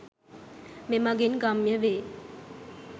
මෙමඟින් ගම්‍ය වේ.